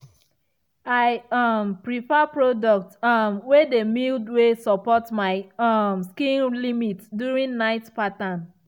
i um prefer product um way dey mild way support my um skin limit during night pattern.